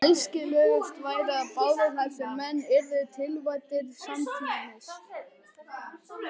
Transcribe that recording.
Æskilegast væri, að báðir þessir menn yrðu tilkvaddir samtímis.